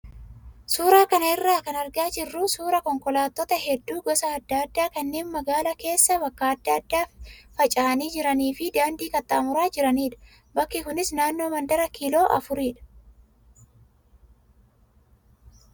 Suuraa kana irraa kan argaa jirru suuraa konkolaattota hedduu gosa adda addaa kanneen magaalaa keessa bakka adda addaa faca'ani jiranii fi daandii qaxxaamuraa jiranidha. Bakki kunis naannoo mandara kiiloo afuridha.